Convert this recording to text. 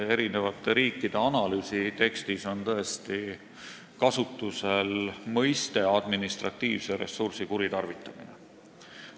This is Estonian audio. Eri riikide analüüsi tekstis on tõesti kasutusel termin "administratiivse ressursi kuritarvitamine".